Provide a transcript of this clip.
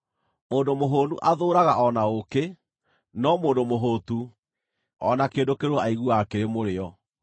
Mũndũ mũhũũnu athũũraga o na ũũkĩ, no mũndũ mũhũũtu, o na kĩndũ kĩrũrũ aiguaga kĩrĩ mũrĩo.